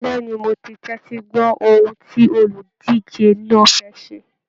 Bẹẹni, mo tẹtí gbọ ohùn tí oludije náà fẹ́ ṣé.